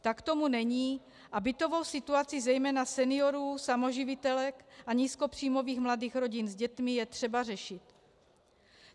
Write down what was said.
Tak tomu není a bytovou situaci zejména seniorů, samoživitelek a nízkopříjmových mladých rodin s dětmi je třeba řešit.